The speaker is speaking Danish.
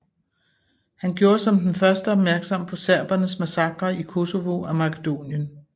Han gjorde som den første opmærksom på serbernes massakrer i Kosovo og Makedonien